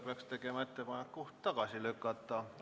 Peaks tegema ettepaneku eelnõu tagasi lükata.